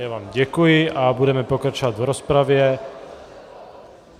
Já vám děkuji a budeme pokračovat v rozpravě.